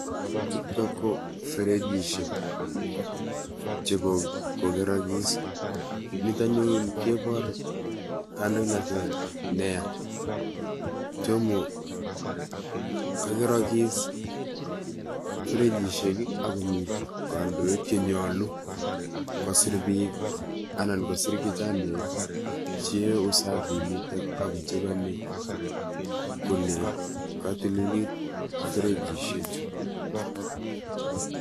Chutok ko ferechisiek chebo kokerakis, nito anyun keipor kandoinatet nea, tomo ,kakerakis ferechisiek akomi kandoik che nyolu kosiir biik anan kosiir kichanaek cheyoe usafinito ako chekeni kole katililit ferechisiek chu.